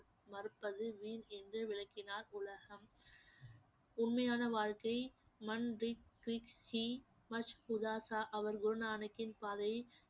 மறுப்பது வீண் என்று விளக்கினார் உலகம் உண்மையான வாழ்க்கை